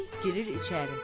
Əli girir içəri.